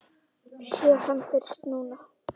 Sé hann fyrst núna.